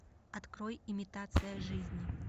открой имитация жизни